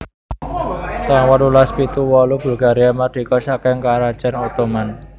taun wolulas pitu wolu Bulgaria mardika saking Karajan Ottoman